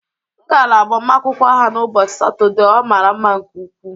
M gara agbamakwụkwọ ha n' ụbọchị Satọde, ọ mara mma nke ukwuu